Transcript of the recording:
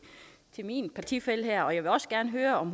min partifælle her jeg vil også gerne høre om